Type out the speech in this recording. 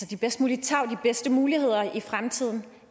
de bedst mulige tarv de bedste muligheder i fremtiden